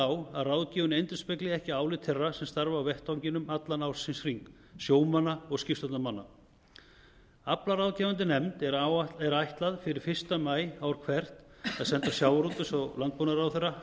á að ráðgjöfin endurspegli ekki álit þeirra sem starfa á vettvanginum allan ársins hring sjómanna og skipstjórnarmanna aflaráðgefandi nefndinni er ætlað fyrir fyrsta maí ár hvert að senda hæstvirtum sjávarútvegs og landbúnaðarráðherra